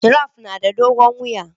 Giraffe yana da dogon wuya